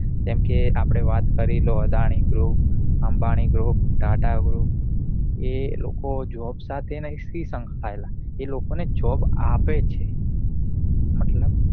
કેમકે આપડે વાત કરી લો Adani group, Ambani group, tata group એ લોકો job સાથે નથી સંસ્થાયેલા તે લોકો ને job આપે છે મતલબ